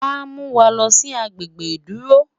wá Muwá loosi agbegbe iduro